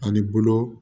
Ani bolo